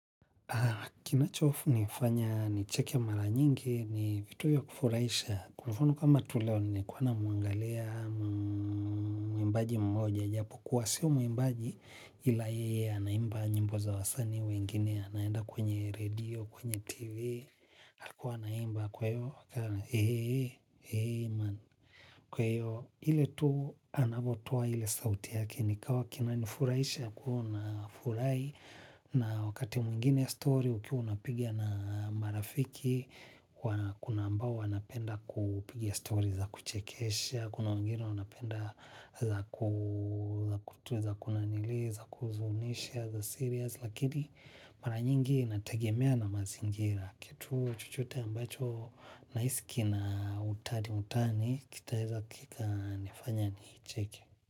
Kinachofunifanya nicheke mara nyingi ni vitu ya kufuraisha. Kwa mfano kama tu leo nilikuwa namuangalia muimbaji mmoja. Japo kuwa sio muimbaji ila yeye anaimba. Nyimbo za wasanii wengine anaenda kwenye radio, kwenye tv. Alikuwa anaimba kwa hivo. Kwa ivo ile tu anavotoa ile sauti yake nikawa kinanifuraisha ya kuona furai na wakati mwingine story ukiwa unapiga na marafiki kuna ambao wanapenda kupigia story za kuchekesha, kuna wengine wanapenda za kutu za kunanili za kuhuzunisha za serious lakini mara nyingi inategemea na mazingira. Kituu chochote ambacho naisi kina utani-utani kitaeza kikanifanya niicheke.